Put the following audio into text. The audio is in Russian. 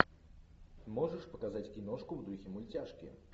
можешь показать киношку в духе мультяшки